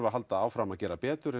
að halda áfram að gera betur